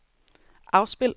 afspil